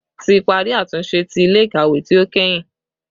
Ti pari atunṣe ti ile-ikawe ti o kẹhin